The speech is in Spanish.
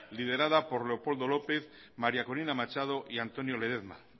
liderara por leopoldo lópez maría colina machado y antonio ledezma